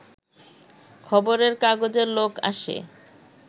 খবরের কাগজের লোক আসে